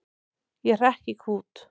Ég hrekk í kút.